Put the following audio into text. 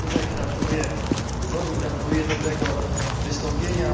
Gratuluję wyboru, gratuluję dobrego wystąpienia.